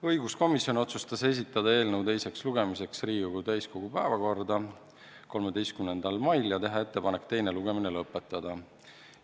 Õiguskomisjon otsustas esitada eelnõu teiseks lugemiseks Riigikogu täiskogu päevakorda 13. maiks ja teha ettepanek teine lugemine lõpetada.